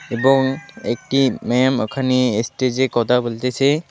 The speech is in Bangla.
এবং একটি ম্যাম ওখানে এস্টেজে কথা বলতেসে।